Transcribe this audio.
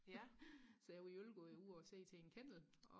ja så jeg hjalp og var ude og se til en kennel